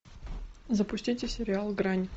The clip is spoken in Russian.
запустите сериал грань